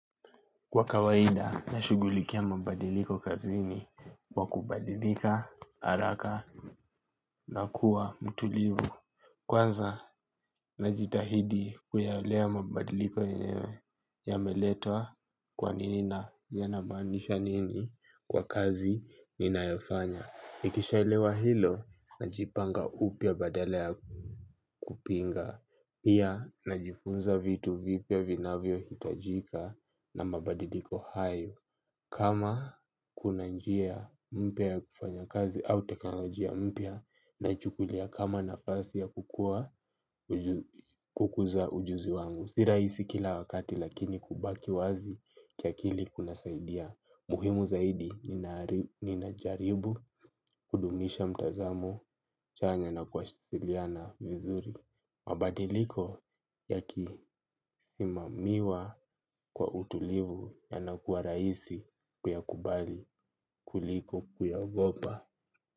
Kwa kawaida nashugulikia mabadiliko kazini kwa kubadilika, haraka na kuwa mtulivu. Kwanza najitahidi kuyaelewa mabadiliko yenyewe yameletwa kwanini na yanamaanisha nini kwa kazi ni naefanya. Nikisha elewa hilo najipanga upya badala ya kupinga. Pia najifunza vitu vipya vinavyo hitajika na mabadiliko hayo. Kama kuna njia mpya ya kufanya kazi au teknolojia mpya naichukulia kama nafasi ya kukua uju- kukuza ujuzi wangu si rahisi kila wakati lakini kubaki wazi kiakili kuna saidia. Muhimu zaidi ninari- ninajaribu kudumisha mtazamo chanya na kwasiliana vizuri. Mabadiliko yakisimamiwa kwa utulivu yanakuwa rahisi kuyakubali kuliko kuyaogopa.